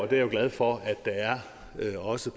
jeg glad for at der også